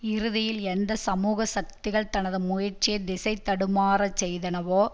இறுதியில் எந்த சமூக சக்திகள் தனது முயற்சியை திசை தடுமாறச் செய்தனவோ